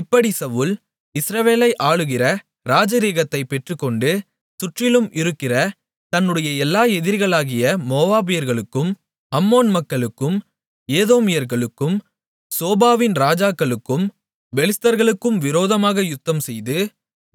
இப்படிச் சவுல் இஸ்ரவேலை ஆளுகிற ராஜரீகத்தைப் பெற்றுக்கொண்டு சுற்றிலும் இருக்கிற தன்னுடைய எல்லா எதிரிகளாகிய மோவாபியர்களுக்கும் அம்மோன் மக்களுக்கும் ஏதோமியர்களுக்கும் சோபாவின் ராஜாக்களுக்கும் பெலிஸ்தர்களுக்கும் விரோதமாக யுத்தம்செய்து